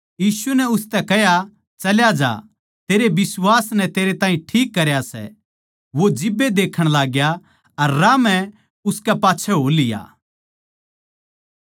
इसपै यीशु नै उसतै कह्या तू के चाहवै सै के मै तेरै खात्तर करूँ आंधे नै उसतै कह्या हे गुरु योए के मै देक्खण लाग्गू